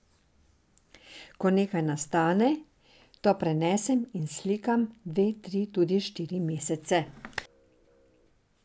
Ko nekaj nastane, to prenesem in slikam dva, tri, tudi štiri mesece.